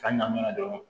K'a ɲan dɔrɔn